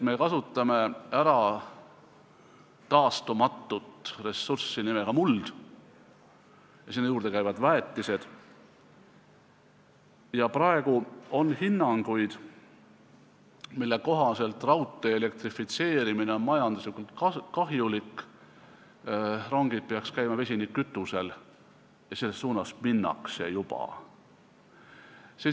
Me kasutame ära taastumatut ressurssi nimega muld, sinna juurde käivad väetised, ja praegu on hinnanguid, mille kohaselt raudtee elektrifitseerimine on majanduslikult kahjulik, rongid peaksid liikuma vesinikkütusel ja selles suunas juba liigutakse.